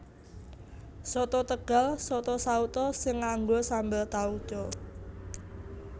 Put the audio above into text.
Soto Tegal Soto sauto sing nganggo sambel tauco